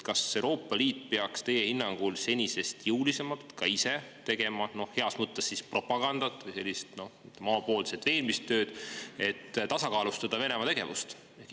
Kas Euroopa Liit peaks teie hinnangul senisest jõulisemalt ka ise, noh, siis heas mõttes propagandat või sellist omapoolset veenmistööd tegema, et tasakaalustada Venemaa tegevust?